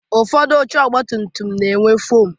Ụfọdụ oche ọgba tum tum na-enwe foomu